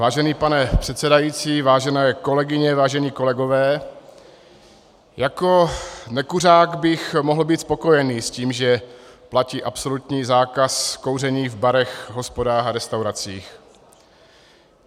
Vážený pane předsedající, vážené kolegyně, vážení kolegové, jako nekuřák bych mohl být spokojen s tím, že platí absolutní zákaz kouření v barech, hospodách a restauracích.